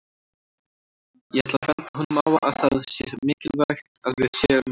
Ég ætla að benda honum á að það sé mikilvægt að við séum